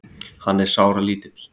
Hann er sáralítill.